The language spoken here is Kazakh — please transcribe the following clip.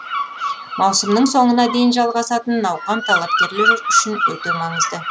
маусымның соңына дейін жалғасатын науқан талапкерлер үшін өте маңызды